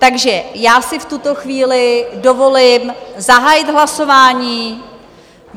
Takže já si v tuto chvíli dovolím zahájit hlasování.